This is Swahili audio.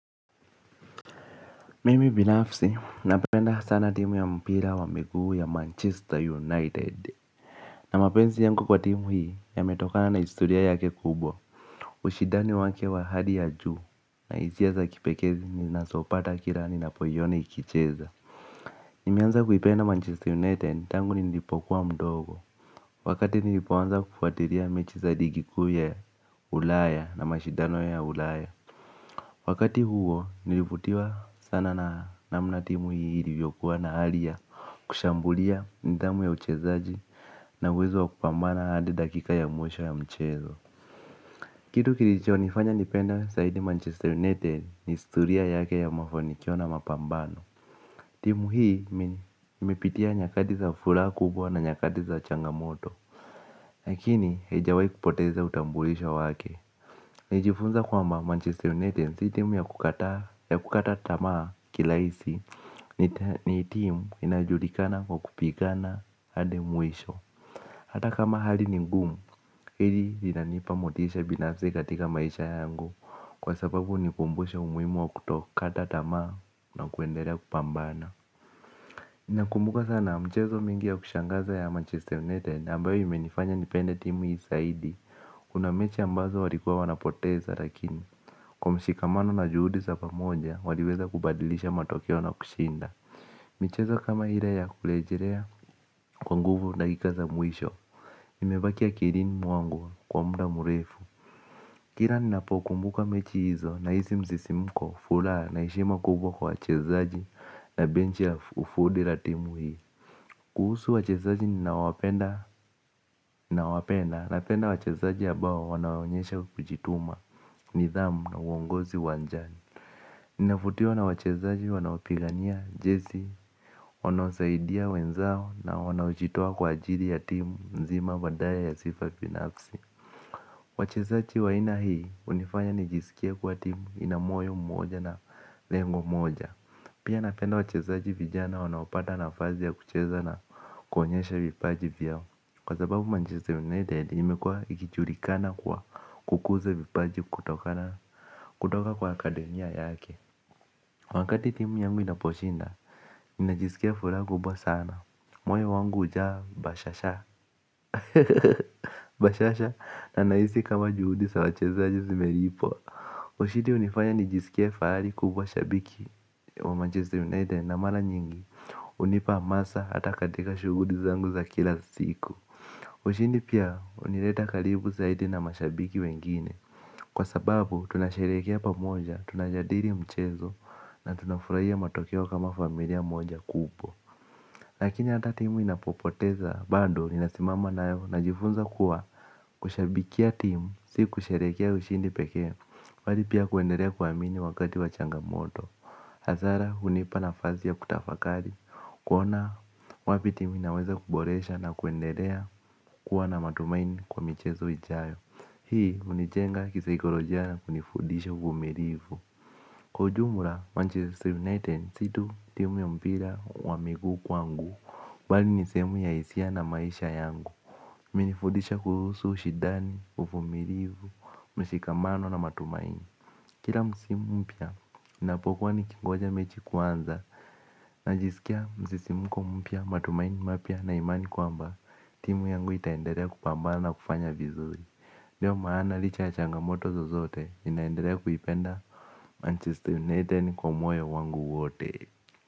Mimi binafsi, napenda sana timu ya mpira wa miguu ya Manchester United. Na mapenzi yangy kwa timu hii, yametokana na historia yake kubwa. Ushidani wake wa hali ya juu, na hisia za kipekee ninazopata kila ninapo iona ikicheza. Nimeanza kuipenda Manchester United, tangu nilipokuwa mdogo. Wakati nilipoanza kufuatilia mechi za ligi kuu ya ulaya na mashidano ya ulaya. Wakati huo, nilivutiwa sana namna timu hii ilivyokuwa na hali ya kushambulia nidhamu ya uchezaji na uwezo wakupambana hadi dakika ya mwesho ya mchezo. Kitu kilicho nifanya nipende zaidi Manchester United ni historia yake ya mafanikio na mapambano. Timu hii imepitia nyakati za furaha kubwa na nyakati za changamoto. Lakini, haijawahi kupoteza utambulisho wake. Nilijifunza kwamba Manchester United si timu ya kukata tama kirahisi. Ni timu inajulikana kwa kupigana hadi mwisho. Hata kama hali ni ngumu, hili linanipa motisha binafsi katika maisha yangu kwa sababu hunikumbusha umuhimu wa kutokata tamaa na kuendelea kupambana nakumbuka sana mchezo mingi ya kushangaza ya Manchester United ambayo imenifanya nipende timu hii zaidi. Kuna mechi ambazo walikua wanapoteza lakini kwa mshikamano na juhudi za pamoja waliweza kubadilisha matokeo na kushinda. Michezo kama ile ya kurejelea kwa nguvu na dakika za mwisho imebaki akilini mwangu kwa muda mrefu. Kila ninapo kumbuka mechi hizo, nahisi msisimko furaha na heshima kubwa kwa wachezaji. Na bench ya ufundi la timu hii. Kuhusu wachezaji nina wapenda. Na wapenda napenda wachezaji ambao wanaonyesha kujituma. Nidhamu na uongozi uwanjani. Ninavutiwa na wachezaji wanaopigania jezi wanaosaidia wenzao na wanaojitoa kwa ajili ya timu nzima badala ya sifa binafsi. Wachezaji wa aina hii hunifanya nijisikie kuwa timu inamoyo mmoja na lengo moja. Pia napenda wachezaji vijana wanaopata nafasi ya kucheza na kuonyesha vipaji vyao kwa sababu Manchester United imekuwa ikijulikana kwa kukuza vipaji kutokana kutoka kwa Academy yake. Wakati timu yangu inaposhinda, ninajisikia furaha kubwa sana. Moyo wangu hujaa bashasha na nahisi kama juhudi sa wachezaji zimelipwa. Ushidi hunifanya nijisikie fahari kubwa shabiki Wa Manchester United na mara nyingi hunipa hamasa hata katika shughuli zangu za kila siku. Ushidi pia hunileta karibu zaidi na mashabiki wengine. Kwa sababu tunasherehekea pamoja, tunajadili mchezo na tunafurahia matokeo kama familia moja kubwa. Lakini ata timu inapopoteza bado ninasimama nayo najifunza kuwa kushabikia timu, si kusherehekea ushindi peke bali pia kuendelea kuamini wakati wa changa moto. Hasara hunipa nafasi ya kutafakari, kuona wapi timu inaweza kuboresha na kuendelea kuwa na matumaini kwa michezo ijayo. Hii hunijenga kisaikolojia na kunifudisha uvulimu. Kwa ujumla, Manchester United si tu timu ya mpira wa miguu kwangu bali nisehemu ya hisia na maisha yangu. Imenifudisha kuhusu ushidani, uvumilivu, mshikamano na matumaini. Kila msimu mpya, ninapokuwa nikingoja mechi kuanza, najisikia msisimko mpya matumaini mapya na imani kwamba timu yangu itaendelea kupambana na kufanya vizuri. Ndio maana licha ya changamoto zozote ninaindelea kuipenda Manchester United kwa moyo wangu wote.